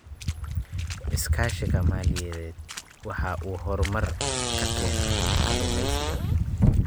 Iskaashiga maaliyadeed waxa uu horumar ka keenaa kalluumaysiga.